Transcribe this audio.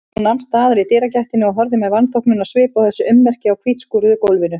Hún nam staðar í dyragættinni og horfði með vanþóknunarsvip á þessi ummerki á hvítskúruðu gólfinu.